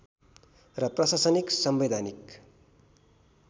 र प्रशासनिक संवैधानिक